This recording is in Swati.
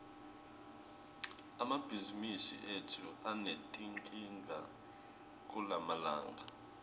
emabhizimisi etfu anetinkinga kulamalanga